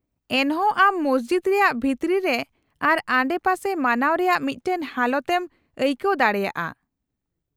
-ᱮᱱᱦᱚᱸ, ᱟᱢ ᱢᱚᱥᱡᱤᱫ ᱨᱮᱭᱟᱜ ᱵᱷᱤᱛᱨᱤ ᱨᱮ ᱟᱨ ᱟᱰᱮᱯᱟᱥᱮ ᱢᱟᱱᱟᱣ ᱨᱮᱭᱟᱜ ᱢᱤᱫᱴᱟᱝ ᱦᱟᱞᱚᱛ ᱮᱢ ᱟᱹᱭᱠᱟᱹᱣ ᱫᱟᱲᱮᱭᱟᱜᱼᱟ ᱾